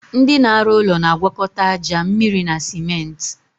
Ndị na arụ ụlọ na agwakọta aja, mmịrị na simenti